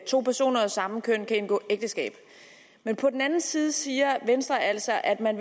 to personer af samme køn kan indgå ægteskab men på den anden side siger venstre altså at man